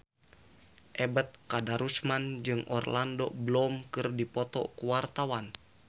Ebet Kadarusman jeung Orlando Bloom keur dipoto ku wartawan